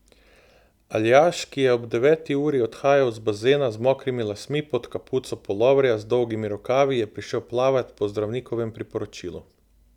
Aljaž, ki je ob deveti uri odhajal z bazena z mokrimi lasmi pod kapuco puloverja z dolgimi rokavi, je prišel plavat po zdravnikovem priporočilu.